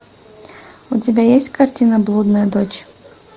у тебя есть картина блудная дочь